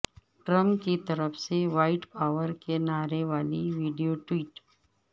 Trump کی طرف سے وائٹ پاور کے نعرے والی ویڈیو ٹویٹ